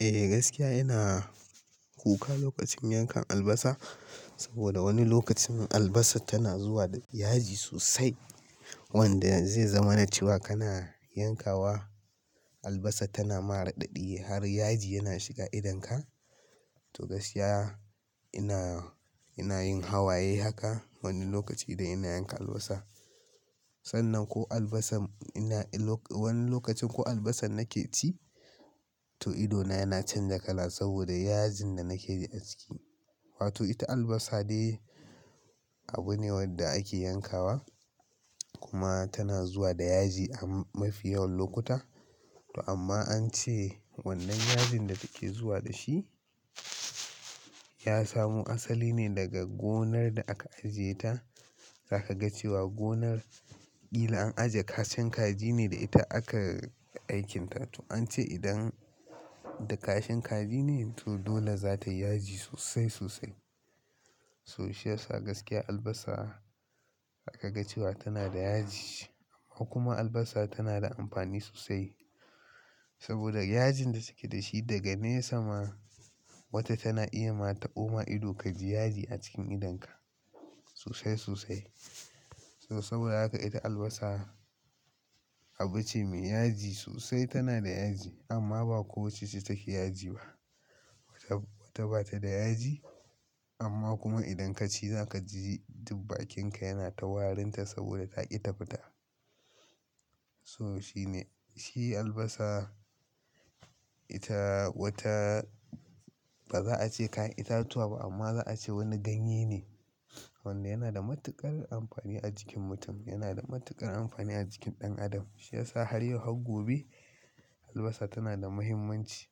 Eh gaskiya ina kuka lokacin yankan albasa saboda wani lokacin albasa tana zuwa da yaji sosai wanda zai zama na cewa kana yankawa albasa tana mara ɗaɗi har yaji yana shiga idonka. To gaskiya ina, ina yin hawaye haka wani lokaci idan ina yanka albasa. Sannan ko albasa ina wan wani lokacin ko albasa nake ci to idona yana canza kala saboda yajin da nake yi aski. Wato ita albasa dai abu ne wanda ake yankawa kuma tana zuwa da yaji a mafi yawan lokuta. To amma an ce wannan yajin da take zuwa da shi ya samo asali ne daga gonar da aka ajiye ta. Zaka ga cewa gonar kila an ajiye kashin kaji ne da ita aka aikinta. To an ce idan da kashin kaji ne, to dole za ta yi yaji sosai sosai. So shi yasa gaskiya albasa zaka ga cewa tana da yaji ko kuma albasa tana da amfani sosai saboda yajin da suke da shi daga ne sama. Wata tana iya ma ta boma ido ka ji yaji a cikin idonka sosai sosai. So saboda haka ita albasa abu ce mai yaji sosai, tana da yaji amma ba kowacce take yaji ba. Wata bata da yaji amma kuma idan ka ci za ka ji duk bakinka yana ta warinta saboda taƙi ta fita. So shine, shi albasa ita wata ba za a ce kayan itatuwa ba amma za a ce wani ganye ne wanda yana da matuƙar amfani a jikin mutum, yana da matuƙar amfani a jikin ɗan adam. Shi yasa har yau har gobe albasa tana da muhimmanci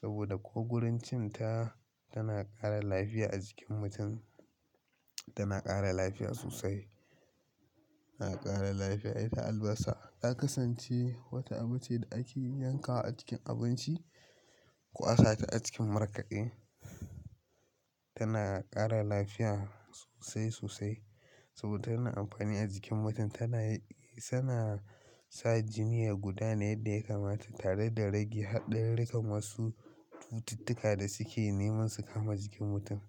saboda ko wurin cin ta, tana ƙara lafiya a jikin mutum, tana ƙara lafiya sosai, tana ƙara lafiya. Ita albasa ta kasance wata abu ce da ake yankawa a cikin abinci ko a sate a cikin markaɗe. Tana ƙara lafiya sosai sosai saboda tana da amfani a jikin mutum. Tana, suna sa jini ya guda ne yadda ya kamata tare da rage haɗariri kan wasu cututtuka da suke neman su kama jikin mutum.